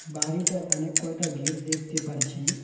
বাড়িটার অনেক কয়টা গেট দেখতে পারছি।